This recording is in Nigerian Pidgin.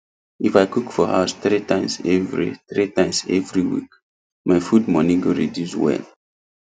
if i cook for house three times every three times every week my food money go reduce well